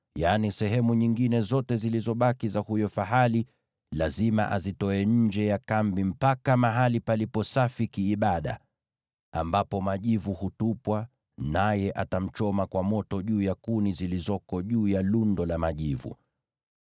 yaani sehemu nyingine zote zilizobaki za huyo fahali, lazima azitoe nje ya kambi mpaka mahali palipo safi kiibada, ambapo majivu hutupwa, naye atamchoma kwa moto juu ya kuni zilizoko juu ya lundo la majivu.